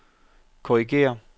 korrigér